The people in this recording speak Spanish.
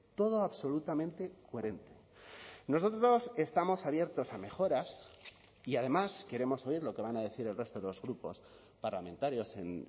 todo absolutamente coherente nosotros estamos abiertos a mejoras y además queremos oír lo que van a decir el resto de los grupos parlamentarios en